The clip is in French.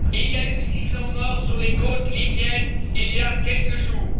Il y a eu 600 morts sur les côtes libyennes, il y a quelques jours.